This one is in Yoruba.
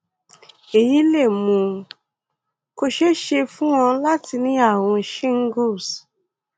èyí lè mú kó ṣeé ṣe fún ọ láti ní ààrùn shingles